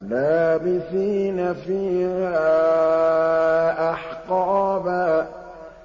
لَّابِثِينَ فِيهَا أَحْقَابًا